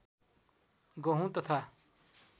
गहुँ तथा